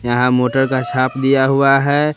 यहां मोटर का छाप दिया हुआ है।